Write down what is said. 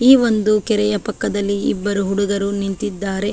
ಈ ಒಂದು ಕೆರೆಯ ಪಕ್ಕದಲ್ಲಿ ಇಬ್ಬರು ಹುಡುಗರು ನಿಂತಿದ್ದಾರೆ.